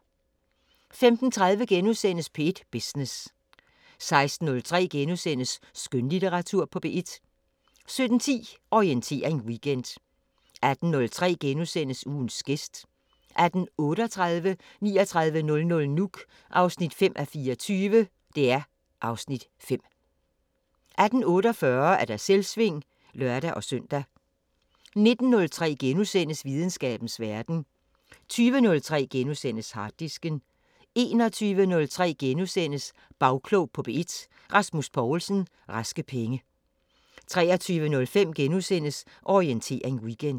15:30: P1 Business * 16:03: Skønlitteratur på P1 * 17:10: Orientering Weekend 18:03: Ugens gæst * 18:38: 3900 Nuuk (5:24) (Afs. 5) 18:48: Selvsving (lør-søn) 19:03: Videnskabens Verden * 20:03: Harddisken * 21:03: Bagklog på P1: Rasmus Poulsen – Raske Penge * 23:05: Orientering Weekend *